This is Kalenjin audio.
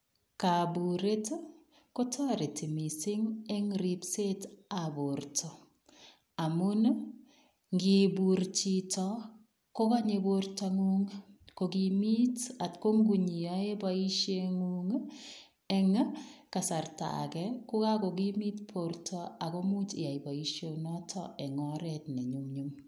Koburet kotoreti mising en ribsetab borto amun ng'ibur chito kokonye bortang'ung ko kimiit atkong'iyoe boisheng'ung eng' kasarta akee ko ko kokimit borto ak komuch iyai boishonotok eng' oreet ne nyumnyum.